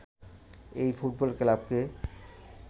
এই ফুটবল ক্লাবকে